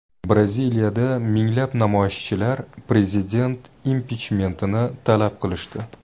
Braziliyada minglab namoyishchilar prezident impichmentini talab qilishdi.